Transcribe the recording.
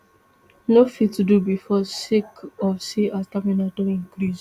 no fit do bifor sake of say her stamina don increase